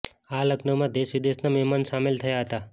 આ લગ્નમાં દેશ વિદેશના મહેમાન સામેલ થયા હતા